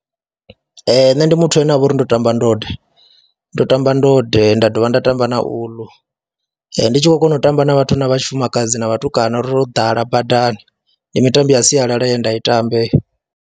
Ee, nṋe ndi muthu ane nda vha uri ndo tamba ndode, ndo tamba ndode nda dovha nda tamba na uḽu, ndi tshi khou kona u tamba na vhathu na vha tshifumakadzi na vhatukana ro ḓala badani. Ndi mitambo ya sialala ye nda i tamba heyo.